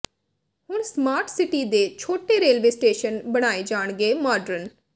ਹੁਣ smart city ਦੇ ਛੋਟੇ ਰੇਲਵੇ ਸਟੇਸ਼ਨ ਬਣਾਏ ਜਾਣਗੇ ਮਾਡਰਨ